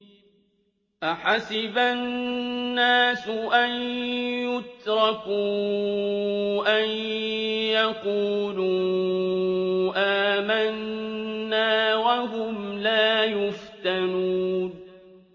أَحَسِبَ النَّاسُ أَن يُتْرَكُوا أَن يَقُولُوا آمَنَّا وَهُمْ لَا يُفْتَنُونَ